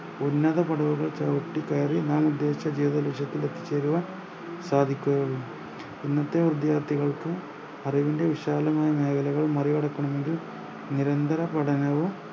ഉന്നത പടവുകൾ ചവിട്ടിക്കേറി നാം ഉദ്ദേശിച്ച ജീവിത ലക്ഷ്യത്തിലെത്തിച്ചേരുവാൻ സാധിക്കുകയുള്ളു ഇന്നത്തെ വിദ്യാർത്ഥികൾക്ക് അറിവിൻ്റെ വിശാലമായ മേഖലകൾ മറികടക്കണമെങ്കിൽ നിരന്തര പഠനവും